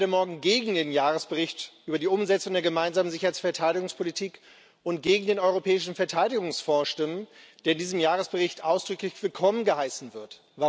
Ich werde morgen gegen den Jahresbericht über die Umsetzung der Gemeinsamen Sicherheits und Verteidigungspolitik und gegen den Europäischen Verteidigungsfonds stimmen, der in diesem Jahresbericht ausdrücklich willkommen geheißen wird.